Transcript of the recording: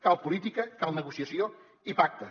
cal política cal negociació i pacte